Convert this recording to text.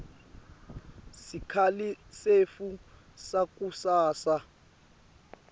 sikhali setfu sakusasa